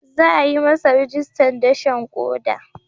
Za a yi masa rajistan dashen koda.